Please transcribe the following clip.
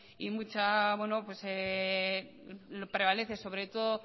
y prevalece